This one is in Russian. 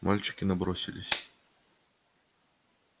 мальчики набросились